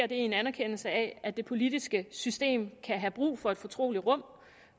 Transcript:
i en anerkendelse af at det politiske system kan have brug for et fortrolig rum